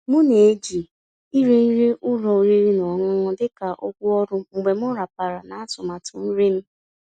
M ná-èjí íri nrí ụ́lọ̀ ọ̀rị́rị́ ná ọ̀ṅụ̀ṅụ̀ dị́ kà ụ̀gwọ́ ọ̀rụ́ mgbe m ràpàrà ná àtụ̀màtụ́ nrí m.